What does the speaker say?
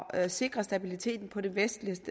at sikre stabiliteten på det vestlige